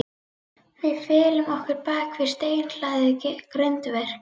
Við felum okkur bak við steinhlaðið grindverk.